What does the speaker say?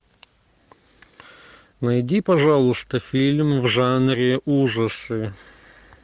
найди пожалуйста фильм в жанре ужасы